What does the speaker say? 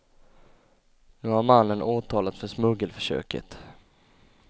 Nu har mannen åtalats för smuggelförsöket.